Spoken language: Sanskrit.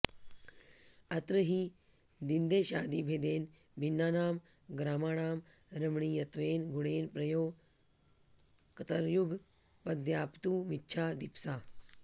अत्र हि दिन्देशादिभेदेन भिन्नानां ग्रामाणां रमणीयत्वेन गुणेन प्रयोक्तुर्युगपद्व्याप्तुमिच्छा दीप्सा